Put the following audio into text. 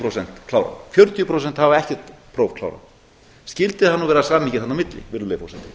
prósent klárað fjörutíu prósent hafa ekkert próf klárað skyldi það nú vera samhengi þarna á milli virðulegi forseti